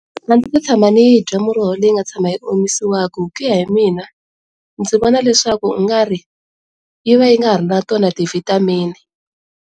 A ndzi se tshama ni yi bya muroho leyi nga tshama yi omisiwaku hi kuya hi mina ndzi vona leswaku u nga ri yi va yi nga ha ri na tona ti vitamin.